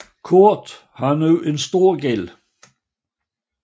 Kurt har nu en stor gæld